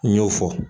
N y'o fɔ